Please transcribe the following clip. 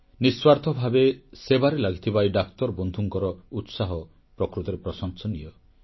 ନିଃସ୍ୱାର୍ଥ ଭାବେ ସେବାରେ ଲାଗିଥିବା ଏହି ଡାକ୍ତର ବନ୍ଧୁଙ୍କର ଉତ୍ସାହ ପ୍ରକୃତରେ ପ୍ରଶଂସନୀୟ